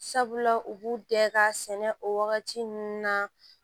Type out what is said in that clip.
Sabula u b'u bɛɛ ka sɛnɛ o wagati ninnu na